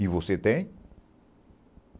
E você tem?